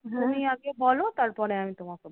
তুমি আগে বোলো তারপরে আমি তোমাকে